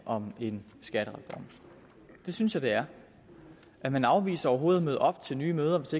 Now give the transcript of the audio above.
om en skattereform det synes jeg det er er man afviser overhovedet at møde op til nye møder hvis